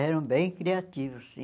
Eram bem criativos, sim.